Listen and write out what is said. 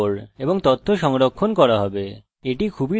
এটি খুবই দরকারী ক্ষেত্র